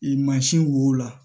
I mansin wo la